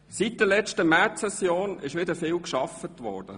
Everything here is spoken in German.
Seit der letzten Märzsession wurde wieder viel gearbeitet.